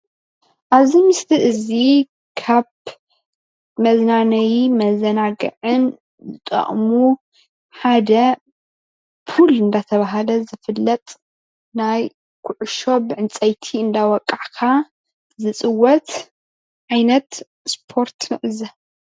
አብዚ ምስሊ እዚ ካብ መዝናነይ መዘናግዕን ዝጠቅሙ ሓደ ፕል እናተባህለ ዝፈለጥ ናይ ኩዕሾ ብዕንፀይቲ እናወቃዕካ ዝፅወት ዓይነት ስፓርት ንዕዘብ፡፡